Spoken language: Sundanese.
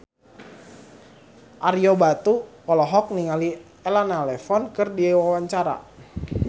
Ario Batu olohok ningali Elena Levon keur diwawancara